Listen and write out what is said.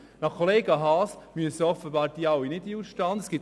Gemäss Kollega Haas müssen sie offenbar alle nicht in den Ausstand treten.